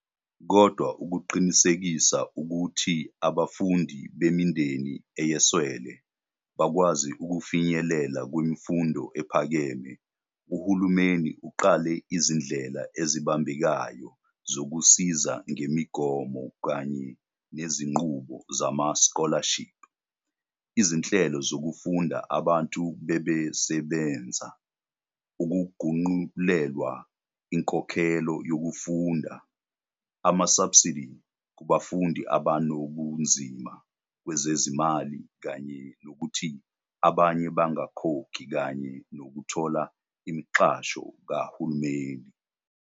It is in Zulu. Kodwa ukuqinisekisa ukuthi abafundi bemindeni eyeswele, bakwazi ukufinyelela kwimfundo ephakeme, uhulumeni uqale izindlela ezibambekayo zokusiza ngemigomo kanye nezinqubo zama-scholarship, izinhlelo zokufunda abantu bebebesebenza, ukuphungulelwa inkokhelo yokufunda, ama-subsidy kubafundi abanobunzima kwezezimali kanye nokuthi abanye bangakhokhi kanye nokuthola imixhaso kahulumeni.